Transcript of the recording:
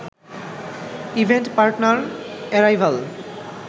event partner arrival